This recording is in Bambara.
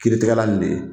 Kiiritigɛla nin de ye